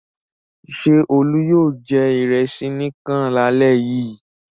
Ṣé Olú yóò jẹ ìrẹsì nìkan lálẹ́ yìí?